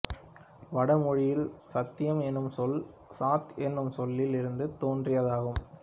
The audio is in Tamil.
வடமொழியில் சத்யம் எனும் சொல் சத் எனும் சொல்லில் இருந்து தோன்றியதாகும்